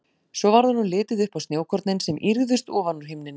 Svo varð honum litið upp á snjókornin sem ýrðust ofan úr himninum.